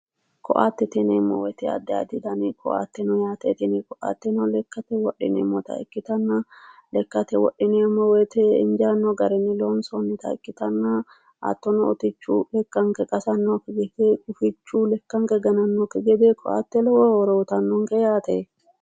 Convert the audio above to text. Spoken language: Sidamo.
Koattetebyineemmo woyite adi adi koatte no tini koatteno lekate wodhineemmota ikitanna lekate wodhineemo woyite injaanno arin ni loonsoonnita ikitanna hattono utichu lekanke qasanonkekki gede gufichu lekanke gananonkekku gede koatte lowo horo uutanonke yaate